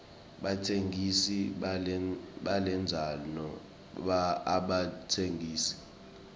batsengisi balendzano abatsengisi